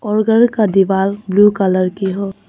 और उधर का दिवाल ब्लू कलर की हो।